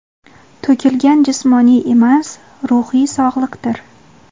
to‘kilgan jismoniy emas ruhiy sog‘liqdir.